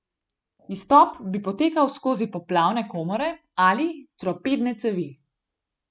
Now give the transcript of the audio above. Izstop bi potekal skozi poplavne komore ali torpedne cevi.